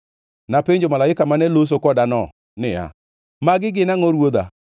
Napenjo malaika mane loso kodano niya, “Magi gin angʼo, ruodha?”